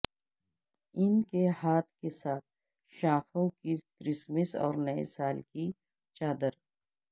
ان کے ہاتھ کے ساتھ شاخوں کی کرسمس اور نئے سال کی چادر